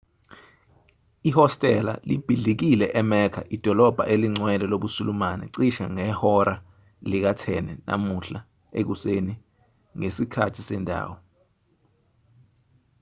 ihostela libhidlikile emecca idolobha elingcwele lobusulumane cishe ngehora lika-10 namuhla ekuseni ngesikhathi sendawo